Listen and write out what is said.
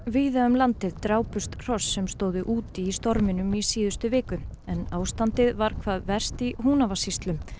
víða um landið drápust hross sem stóðu úti í storminum í síðustu viku en ástandið var hvað verst í Húnavatnssýslum